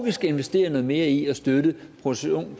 vi skal investere noget mere i at støtte produktionen